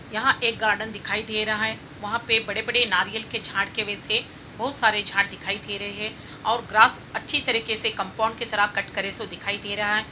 यहाँ एक गार्डन दिखाई दे रहा है| वहाँ पर बड़े-बड़े नारियल के झाड़ के पीछे बोहोत सारे झाड़ दिखाई दे रहे हैं और ग्रास अच्छी तरीके से कंपाउंड की तरह कट करे से दिखाई दे रहा है।